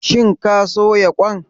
Shin ka soya kwan?